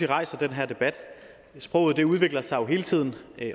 rejser den her debat sproget udvikler sig jo hele tiden